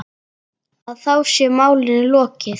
Og þá sé málinu lokið.